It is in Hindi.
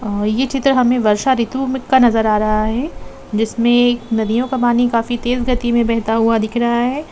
अ यह चित्र हमें वर्षा ऋतु का नजर आ रहा है जिसमें नदियों का पानी काफी तेज गति में बहता हुआ दिख रहा है।